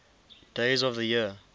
days of the year